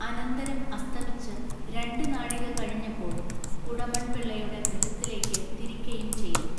അനന്തരം അസ്തമിച്ച് രണ്ടുനാഴിക കഴിഞ്ഞപ്പോൾ കുടമൺപിള്ളയുടെ ഗൃഹത്തിലേക്കു തിരിക്കയും ചെയ്തു.